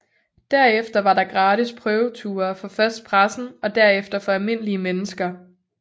Derefter var der gratis prøveture for først pressen og derefter for almindelige mennesker